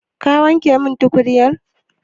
Ka wanke min tukunyar?